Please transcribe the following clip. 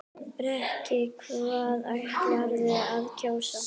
Breki: Hvað ætlarðu að kjósa?